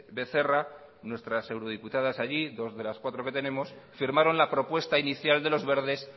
becerra nuestras eurodiputadas allí dos de las cuatro que tenemos firmaron la propuesta inicial de los verdes